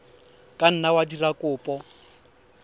ka nna wa dira kopo